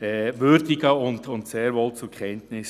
und nehme das sehr wohl zur Kenntnis.